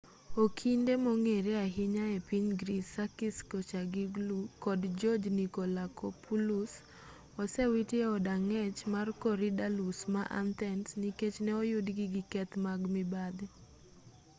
okinde mong'ere ahinya epiny greece sakis kechagioglou kod george nikolakopoulos osewiti e od ang'ech mar korydallus ma athens nikech ne oyudgi gi keth mag mibadhi